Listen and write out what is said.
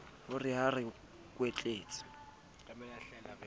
ho re ba re kwetletse